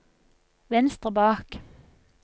venstre bak